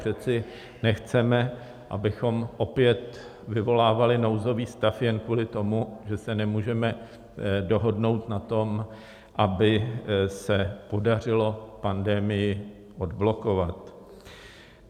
Přece nechceme, abychom opět vyvolávali nouzový stav jen kvůli tomu, že se nemůžeme dohodnout na tom, aby se podařilo pandemii odblokovat.